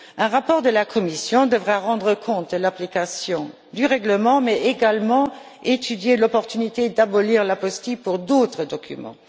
Un rapport de la Commission devra rendre compte de l'application du règlement, mais également étudier l'opportunité d'abolir l'apostille pour d'autres documents.